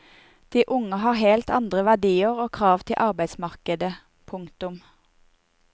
De unge har helt andre verdier og krav til arbeidsmarkedet. punktum